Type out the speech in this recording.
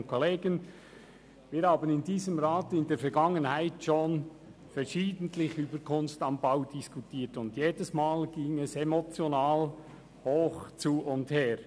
Wir haben in diesem Rat in der Vergangenheit schon verschiedentlich über «Kunst am Bau» diskutiert, und jedes Mal ging es emotional hoch zu und her.